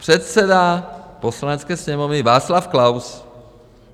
Předseda Poslanecké sněmovny Václav Klaus.